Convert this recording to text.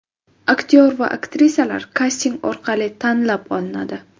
Aktyor va aktrisalar kasting orqali tanlab olinadi.